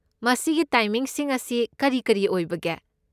ꯃꯁꯤꯒꯤ ꯇꯥꯏꯃꯤꯡꯁꯤꯡ ꯑꯁꯤ ꯀꯔꯤ ꯀꯔꯤ ꯑꯣꯏꯕꯒꯦ?